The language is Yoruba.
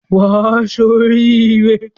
Wà á ṣoríre.